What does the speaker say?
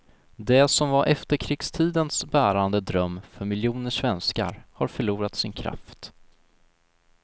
Det som var efterkrigstidens bärande dröm för miljoner svenskar har förlorat sin kraft.